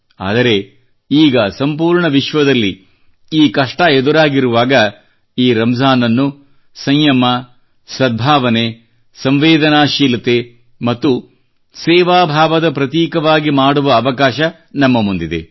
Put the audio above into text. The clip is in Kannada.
ಆದರೆ ಈಗ ಸಂಪೂರ್ಣ ವಿಶ್ವದಲ್ಲಿ ಈ ಕಷ್ಟ ಎದುರಾಗಿರುವಾಗ ಈ ರಂಜಾನ್ ಅನ್ನು ಸಂಯಮ ಸದ್ಭಾವನೆ ಸಂವೇದನಾಶೀಲತೆ ಮತ್ತು ಸೇವಾ ಭಾವದ ಪ್ರತೀಕವಾಗಿ ಮಾಡುವ ಅವಕಾಶ ನಮ್ಮ ಮುಂದಿದೆ